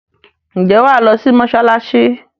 Ǹjẹ́ wa lọ sí mọsalasi